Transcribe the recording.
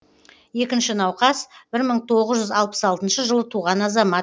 екінші науқас бір мың тоғыз жүз алпыс алтыншы жылы туған азамат